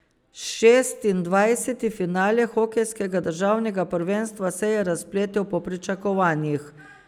Šestindvajseti finale hokejskega državnega prvenstva se je razpletel po pričakovanjih.